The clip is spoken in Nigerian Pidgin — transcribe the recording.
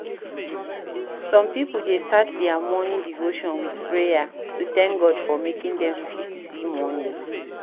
Some pipo dey start their morning devotion with prayer to thank God for making dem fit see morning